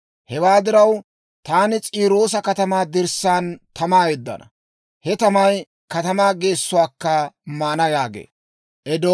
Hewaa diraw, taani S'iiroosa katamaa dirssaan tamaa yeddana; he tamay katamaa geessuwaakka maana» yaagee.